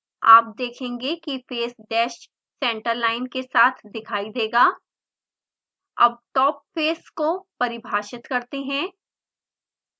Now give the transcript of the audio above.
आप देखेंगे कि फेस डैस सेंटर लाइन के साथ दिखाई देगा अब top face को परिभाषित करते हैं